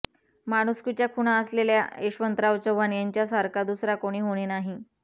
माणुसकीच्या खुणा असलेल्या यशवंतराव चव्हाण यांच्यासारखा दुसरा कोणी होणे नाही